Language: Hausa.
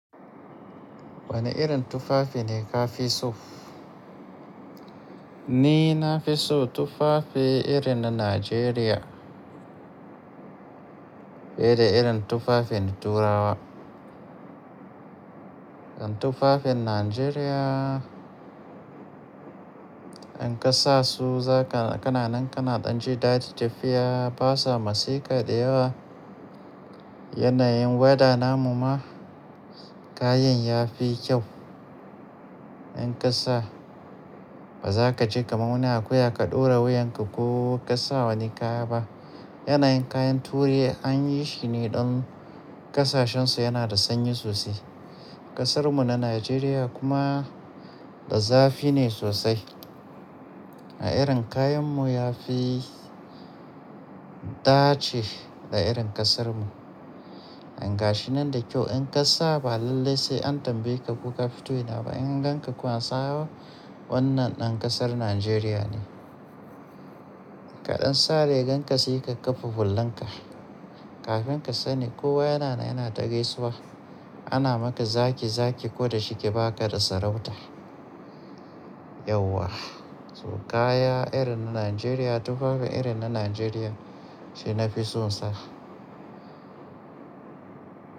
Wane irin tufafi ne ka fi so? Ni na fi so tufafi irin na Najeriya fiye da irin tufafin Turawa. Tufafin Najeriya in ka sa su kana nan kana ɗan ji daɗi tafiya. Ba sa matseka da yawa. Yanayin weather namu ma kayan ya fi kyau. In ka sa ba za ka ji kamuni akuya ka ɗora wuyanka ko ka sa wani kaya ba. Yanayin kayan Turai an yi shi ne don ƙasashensu yana da sanyi sosai. Ƙasarmu na Najeriya kuma da zafi ne sosai. A irin kayanmu ya fi dace da irin ƙasarmu. In ka gashi nan da kyau in ka sa ba lallai sai an tambaye ka ko ka fito ina ba. In an gan ka kuwa an saba wannan ɗan ƙasar Najeriya ne. Kaɗan sa rigan ka sai ka kafa hullanka. Kafin ka sani kowa yana na yana ta gaisuwa. Ana maka zaki zaki ko da shi ke ba ka da sarauta. Yauwa, to kaya irin na Najeriya tufafi irin na Najeriya shi na fi so sa.